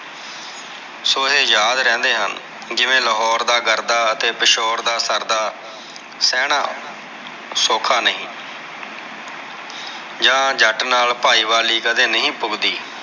ਸੋ ਇਹ ਯਾਦ ਰਹਿੰਦੇ ਹਨ ਜਿਵੇਂ ਲਾਹੌਰ ਦਾ ਗਰਦਾ ਅਤੇ ਪਿਸ਼ੋਰ ਦਾ ਸਰਦਾ ਸਹਿਣਾ ਸੌਖਾ ਨਹੀਂ ਆ ਜੱਟ ਨਾਲ ਭਾਈ ਵਾਲੀ ਕਦੇ ਨਹੀਂ ਪੁਗਦੀ।